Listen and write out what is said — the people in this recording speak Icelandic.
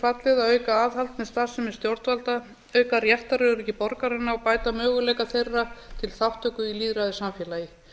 fallið að auka aðhald sem starfsemi stjórnvalda auka réttaröryggi borgaranna og bæta möguleika þeirra til þátttöku í lýðræðissamfélagi